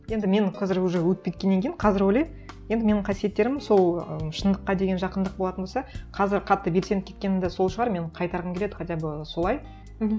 енді менің қазір уже өтіп кеткеннен кейін қазір ойлаймын енді менің қасиеттерім сол ыыы шындыққа деген жақындық болатын болса қазір қатты белсеніп кеткені де сол шығар мен қайтарғым келеді хотя бы солай